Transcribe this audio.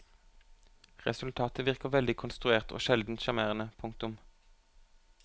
Resultatet virker veldig konstruert og sjelden sjarmerende. punktum